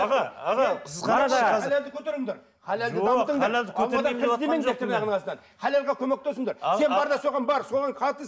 аға аға халалға көмектесіңдер сен бар да соған бар соған қатыс